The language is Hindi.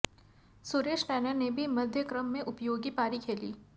सुरेश रैंना नें भी मध्यक्रम में उपयोगी पारी खेली